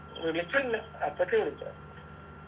വിളിച്ചിണ്ട് അപ്പച്ചി വിളിച്ചോ